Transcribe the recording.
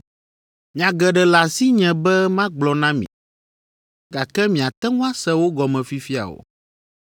“Nya geɖe le asinye be magblɔ na mi, gake miate ŋu ase wo gɔme fifia o.